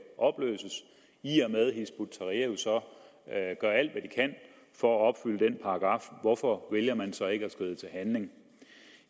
opløses i og med at hizb ut tahrir jo så gør alt hvad de kan for at opfylde den paragraf hvorfor vælger man så ikke at skride til handling